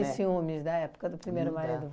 né? E ciúmes da época do primeiro marido?